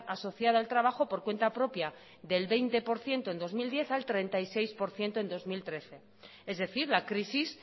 asociada al trabajo por cuenta propia del veinte por ciento en dos mil diez al treinta y seis por ciento en bi mila hamairu es decir la crisis